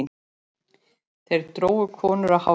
Þeir drógu konur á hárinu.